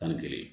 Tan ni kelen